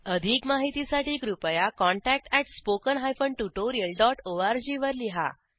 अधिक माहितीसाठी कृपया contactspoken tutorialorg वर लिहा